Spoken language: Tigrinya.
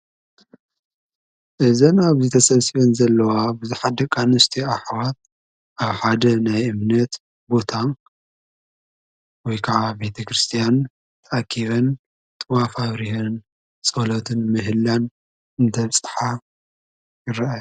ኣብ ትግራይ ካብ ዝርከባ ሃይማኖታት ሓንቲ ዝኮነት ኦርቶዶክስ ተዋህዶ ኣመንቲ እንትኮና፣ ኣብ ቤት እምነቶም ነፀላ ክሳብ ርእሰን ተከዲነን እንዳፀለያን እግዝኣብሄረን እንዳመስገና እየን።